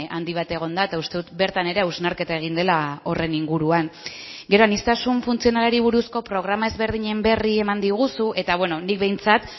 handi bat egon da eta uste dut bertan ere hausnarketa egin dela horren inguruan gero aniztasun funtzionalari buruzko programa ezberdinen berri eman diguzu eta nik behintzat